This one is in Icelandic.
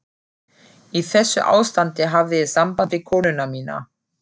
Í þessu ástandi hafði ég samband við konuna mína.